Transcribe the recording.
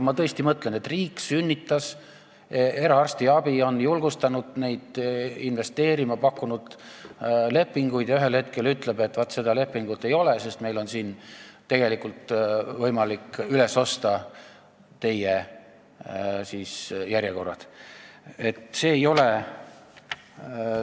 Ma tõesti mõtlen, et riik ju sünnitas eraarstiabi, on julgustanud neid investeerima ja pakkunud lepinguid ning ühel hetkel ütleb, et vaat seda lepingut enam ei ole, sest meil on võimalik teie järjekorrad üles osta.